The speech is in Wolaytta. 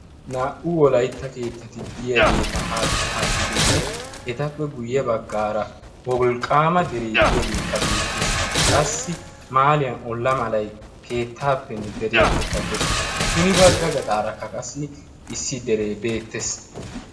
Naa"u wolaitta keettatiddiyaageeta haakki haakkidinne etappe guyye baggaara wolqqaama deree diyaageekka beettees qassi maaliyan olla malay keettaappenne deriyaappekka dees hini bagga gaxaarakka kassi issi deree beettees.